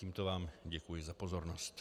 Tímto vám děkuji za pozornost.